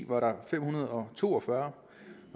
var der fem hundrede og to og fyrre